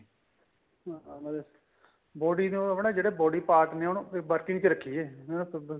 ਹਾਂ ਨਾਲੇ body ਨੂੰ ਆਪਣੇ ਜਿਹੜੇ body part ਨੇ ਉਹਨੂੰ working ਚ ਰੱਖੀਏ ਜਿਵੇਂ ਤੁਰਦੇ